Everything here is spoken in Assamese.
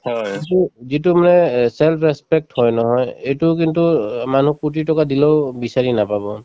কিন্তু যিটো মানে এহ্ self respect হয় নহয় এইটো কিন্তু অ মানুহক কোটি টকা দিলেও বিচাৰি নাপাব